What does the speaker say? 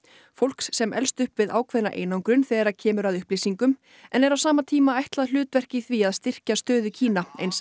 fólks sem elst upp við ákveðna einangrun þegar kemur að upplýsingum en er á sama tíma ætlað hlutverk í því að styrkja stöðu Kína eins